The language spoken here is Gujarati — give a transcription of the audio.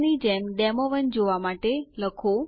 નવો પાસવર્ડ ફરીથી લખો